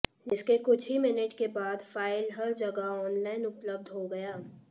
जिसके कुछ ही मिनट के बाद फाइल हर जगह ऑनलाइन उपलब्ध हो गया